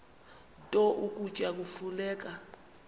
nto ukutya kufuneka